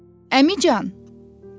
Əmican!